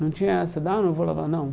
Não tinha essa, dá, não vou lavar, não.